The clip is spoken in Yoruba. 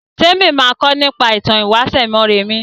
Témi ma kọ nípa ìtàn ìwáṣẹ̀ Mọ́rẹmí